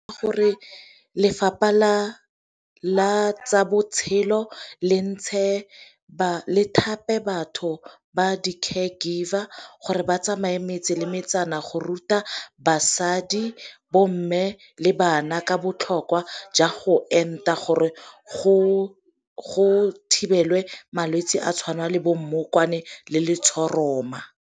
Gore lefapha la tsa botshelo le ba thape batho ba di-care giver gore ba tsamayang metse le metsana go ruta basadi bo mme le bana ka botlhokwa jwa go enta gore go thibelwe malwetsi a tshwana le bo mmokwane le letshoroma.